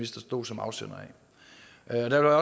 står som afsender af der